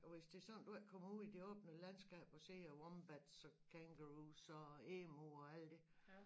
Hvis det sådan du ikke kommer ud i det åbne landskab og ser wombats og kangaroos og emu og alt det